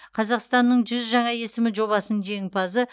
қазақстанның жүз жаңа есімі жобасының жеңімпазы